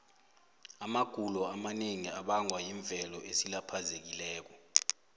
amagulo amanengi abangwa yimvelo esilaphazekileko